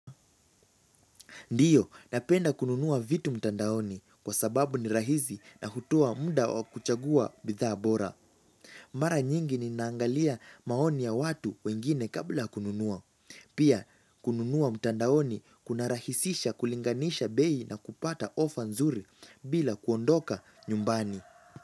Ndio, napenda kununua vitu mtandaoni kwa sababu ni rahisi na hutoa mda wa kuchagua bidhaa bora. Mara nyingi ninaangalia maoni ya watu wengine kabla ya kununua. Pia, kununua mtandaoni kuna rahisisha kulinganisha bei na kupata ofa nzuri bila kuondoka nyumbani.